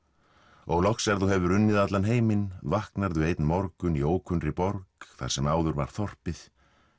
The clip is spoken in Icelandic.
og loks er þú hefur unnið allan heiminn vaknar þú einn morgun í ókunnri borg þar sem áður var þorpið